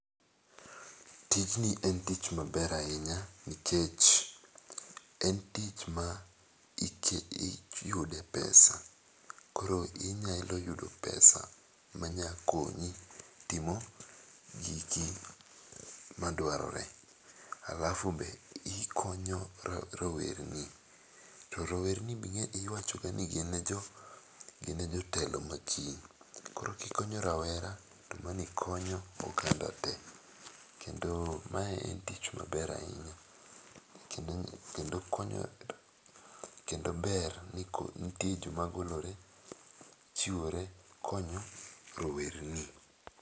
Tijni en tich maber ahinya nikech en tich ma iyude e pesa koro iyudo pesa ma nya konyi timo giki ma dwarore alafu[c] be ikonyo rowerniTto be rowerni ing'e ni iwacho ga ni gin e jotelo ma kiny koro ki ikonya rawero to mano ikonyo oganda te kendo mae en tich maber ahinya kendo konyo kendo ber ni en tich magolore, chiwore, konyo rowerni.